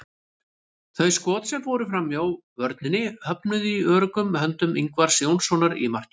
Þau skot sem fóru framhjá vörninni höfnuðu í öruggum höndum Ingvars Jónssonar í markinu.